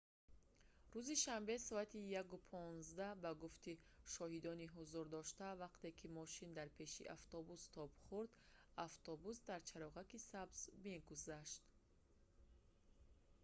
рӯзи шанбе соати 1:15 ба гуфти шоҳидони ҳузурдошта вақте ки мошин дар пеши автобус тоб хурд автобус дар чароғаки сабз мегузашт